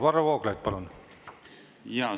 Varro Vooglaid, palun!